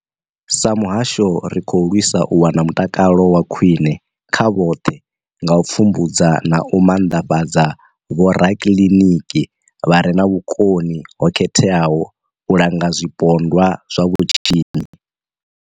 Sa muhasho, ri khou lwisa u wana mutakalo wa khwine kha vhoṱhe nga u pfumbudza na u maanḓafhadza vhorakiliniki vha re na vhukoni ho khetheaho u langa zwipondwa zwa vhutshinyi.